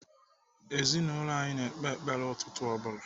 Ezinaụlọ anyị na-ekpe ekpere ụtụtụ ọ bụla.